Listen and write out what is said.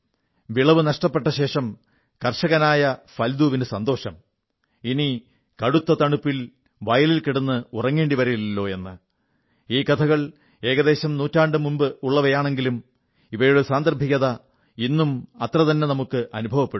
വിളവ് നഷ്ടപ്പെട്ടശേഷം കർഷകനായ ഹല്ദൂവിന് സന്തോഷം ഇനി കടുത്ത തണുപ്പിൽ വയലിൽ കിടന്ന് ഉറങ്ങേണ്ടി വരില്ലല്ലോ എന്ന് ഈ കഥകൾ ഏകദേശം നൂറ്റാണ്ടുമുമ്പുള്ളവയാണെങ്കിലും ഇവയുടെ സാന്ദർഭികത ഇന്നും അത്രതന്നെ നമുക്ക് അനുഭവപ്പെടും